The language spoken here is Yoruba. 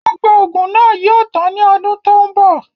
Gbogbo oògùn náà yìí ó tàn ni ọdún tòun bọ̀